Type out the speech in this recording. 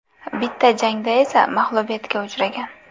Bitta jangda esa mag‘lubiyatga uchragan.